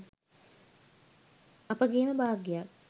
අපගේම භාග්‍යයක්.